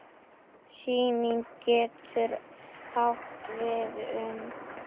Sýning getur átt við um